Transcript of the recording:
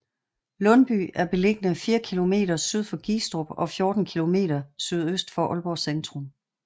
Lundby er beliggende fire kilometer syd for Gistrup og 14 kilometer sydøst for Aalborg centrum